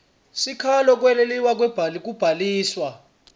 sikhalo ngekwalelwa kubhaliswa